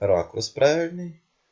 ракурс правильный